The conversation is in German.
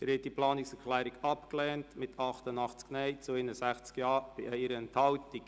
Sie haben die Planungserklärung abgelehnt mit 61 Ja- zu 88 Nein-Stimmen bei 1 Enthaltung.